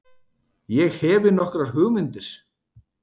Ég hefi nokkrar hugmyndir.